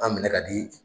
An minɛ ka di